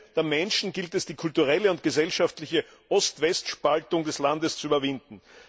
Im Sinne der Menschen gilt es, die kulturelle und gesellschaftliche Ost West Spaltung des Landes zu überwinden.